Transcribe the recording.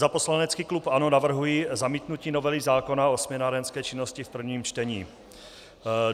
Za poslanecký klub ANO navrhuji zamítnutí novely zákona o směnárenské činnosti v prvním čtení.